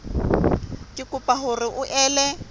re kopa hore o ele